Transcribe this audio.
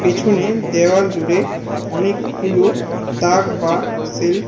পিছনে দেওয়াল জুড়ে অনেকগুলো তাক বা সেল্ফ আ--